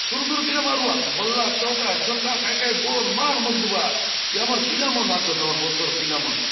शुरू - शुरू पीला मारूआत बल्ला चौका छक्का काय - काय गोल माल मारी देबा आत ये आमर पीला मन आचोत आमर बस्तर र पिला मन --